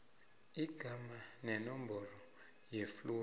igama nenomboro yefluru